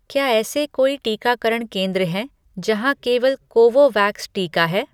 क्या ऐसे कोई टीकाकरण केंद्र हैं जहाँ केवल कोवोवैक्स टीका है?